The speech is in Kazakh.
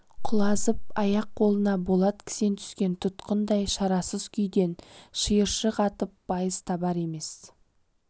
құлазып аяқ-қолына болат кісен түскен тұтқындай шарасыз күйден шиыршық атып байыз табар емес